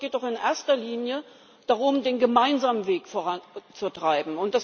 Ich glaube, es geht doch in erster Linie darum, den gemeinsamen Weg voranzutreiben.